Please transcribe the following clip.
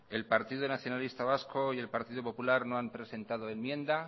el partido nacionalista vasco y el partido popular no han presentado enmienda